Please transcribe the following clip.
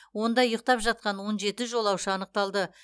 онда ұйықтап жатқан он жеті жолаушы анықталды